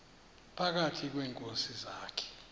phakathi kweenkosi zakhe